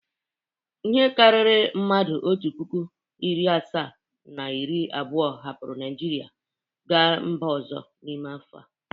Ihe karịrị mmadụ otu puku, narị asaa na iri abụọ hapụrụ Naịjirịa gaa mba ọzọ n’ime afọ a.